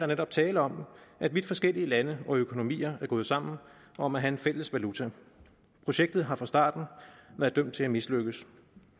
netop tale om at vidt forskellige lande og økonomier er gået sammen om at have en fælles valuta projektet har fra starten været dømt til at mislykkes